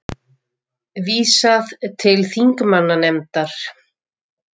Vísað til þingmannanefndar